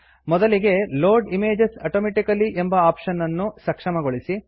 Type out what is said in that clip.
ಮೊದಲಿಗೆ load images automatical load images automatically ಎಂಬ option ಅನ್ನು ಸಕ್ಷಮಗೊಳಿಸಿ